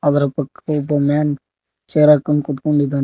ಅದರ ಪಕ್ಕ ಒಬ್ಬ ಮ್ಯಾನ್ ಚೇರ್ ಹಾಕೊಂಡ್ ಕೂತ್ಕೊಂಡಿದ್ದಾನೆ.